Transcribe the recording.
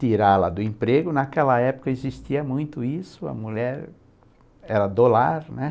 Tirá-la do emprego, naquela época existia muito isso, a mulher era do lar, né?